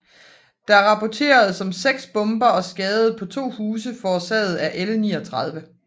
Der rapporteredes om 6 bomber og skade på 2 huse forårsaget af L 39